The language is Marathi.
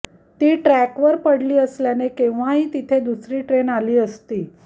ती ट्रॅकवर पडली असल्याने केव्हाही तिथे दुसरी ट्रेन आली असती